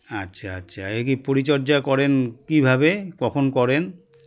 আচ্ছা আচ্ছা একে পরিচর্যা করেন কী ভাবে কখন করেন